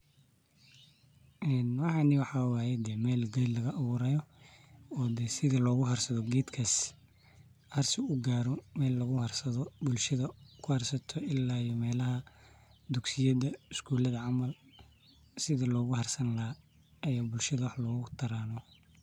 Waxani waxa waye meel ged lagaaburayo oo luguharsado oo ged bulshada sida dugsiyada skulada melahas daan ey bulshada oguharsadan.